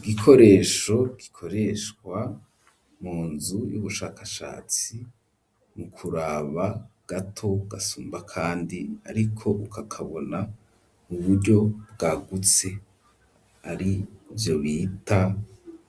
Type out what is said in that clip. Igikoresho gikoreshwa mu nzu y'ubushakashatsi mu kuraba gato gasumba kandi ariko ukakabona uburyo bwagutse arivyo bita